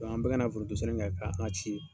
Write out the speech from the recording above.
An bɛɛ kana forontosɛnɛ k'an ci ye.